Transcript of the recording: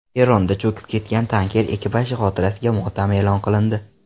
Eronda cho‘kib ketgan tanker ekipaji xotirasiga motam e’lon qilindi.